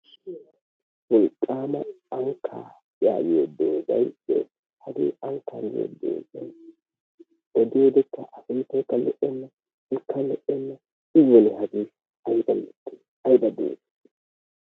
Wolqqama ankka yagiyoo doozay dees. Hagee ankka giyooge odiyoode a sunttaykka lo"ena, ikka lo"enna, i woni hagee aybba mittee, aybba dooze.